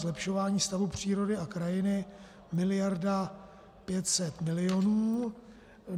Zlepšování stavu přírody a krajiny miliarda 500 milionů.